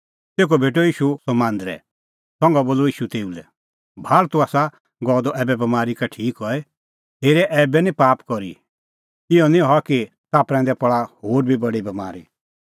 तेखअ भेटअ ईशू सह मांदरै संघा बोलअ ईशू तेऊ लै इहअ भाल़ तूह आसा गअ द ऐबै बमारी का ठीक हई हेरे ऐबै निं भी पाप करी इहअ निं हआ कि ताह प्रैंदै पल़ा होर बी बडी बमारी